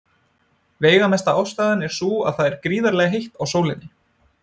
Veigamesta ástæðan er sú að það er gríðarlega heitt á sólinni.